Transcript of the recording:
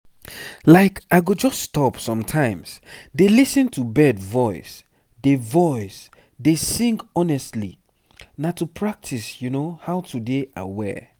like i go just stop sometimes dey lis ten to bird voice dey voice dey sing honestly na to practice how to dey aware.